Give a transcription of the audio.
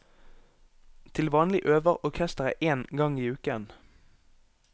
Til vanlig øver orkesteret én gang i uken.